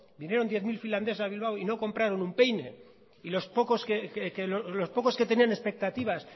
vinieron diez mil finlandeses a bilbao y no compraron un peine y los pocos que tenían expectativas